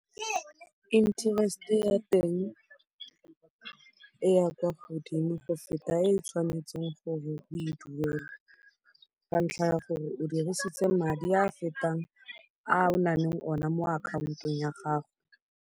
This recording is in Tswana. Interest-e ya teng e ya kwa godimo go feta e o tshwanetseng gore o e dule ka ntlha ya gore o dirisitse madi a a fetang a o nang le one mo akhaontong ya gago.